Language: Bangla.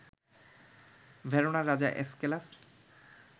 ভেরোনার রাজা এসকেলাস